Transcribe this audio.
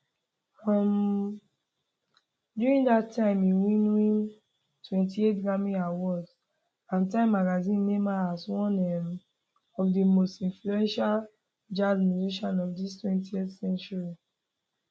um during dat time im win win 28 grammy awards and time magazine name am as one um of di most influential jazz musicians of di 20th century